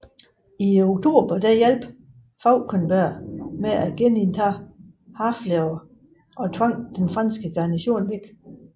I oktober hjalp Fauconberg med at genindtage Harfleur og tvang den franske garnison væk